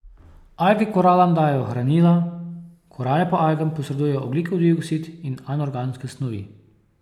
Alge koralam dajejo hranila, korale pa algam posredujejo ogljikov dioksid in anorganske snovi.